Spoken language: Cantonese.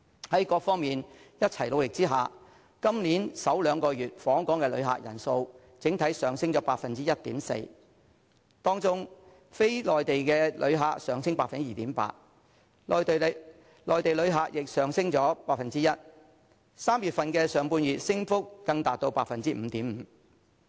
在各方面一起努力下，今年首兩個月的訪港旅客人數整體上升 1.4%， 當中非內地旅客上升 2.8%， 內地旅客亦上升 1%；3 月上半月的升幅更達至 5.5%。